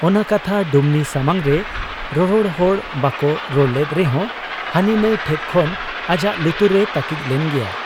ᱚᱱᱟ ᱠᱟᱛᱷᱟ ᱰᱩᱢᱱᱤ ᱥᱟᱢᱟᱝᱨᱮ ᱨᱚᱨᱚᱲ ᱦᱚᱲ ᱵᱟᱠᱚ ᱨᱚᱲ ᱞᱮᱫ ᱨᱮᱦᱚᱸ ᱦᱟᱹᱱᱤ ᱱᱷᱟᱺᱭ ᱴᱷᱮᱫ ᱠᱷᱚᱱ ᱟᱡᱟᱜ ᱞᱩᱛᱩᱨ ᱨᱮ ᱛᱟᱹᱠᱤᱡ ᱞᱮᱱ ᱜᱮᱭᱟ ᱾